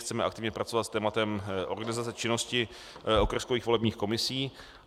Chceme aktivně pracovat s tématem organizace činnosti okrskových volebních komisí.